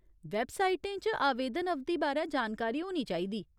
वेबसाइटें च आवेदन अवधि बारै च जानकारी होनी चाहिदी।